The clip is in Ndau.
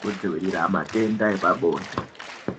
kudzivirira matenda epabonde.